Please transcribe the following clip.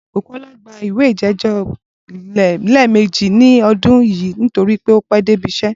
Bùkó̩lá ti gba ìwé ìjé̩jó̩ lé̩è̩mejì ní o̩dún yìí nítorí pé ó pé̩ dé ibi is̩é̩